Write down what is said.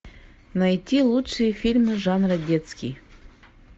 найти лучшие фильмы жанра детский